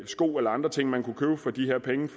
sko eller andre ting man kunne købe for de her penge